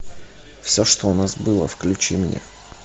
все что у нас было включи мне